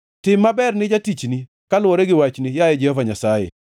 Tim maber ne jatichni kaluwore gi wachni, yaye Jehova Nyasaye.